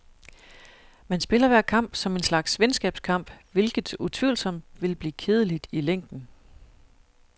Man spiller hver kamp som en slags venskabskamp, hvilket utvivlsomt vil blive kedeligt i længden.